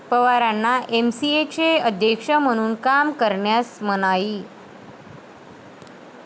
पवारांना एमसीएचे अध्यक्ष म्हणून काम करण्यास मनाई